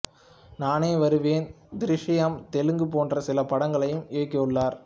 நானே வருவேன் திருஷ்யம் தெலுங்கு போன்ற சில படங்களை இயக்கியுள்ளார்